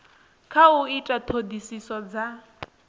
kha u ita ṱhoḓisiso dza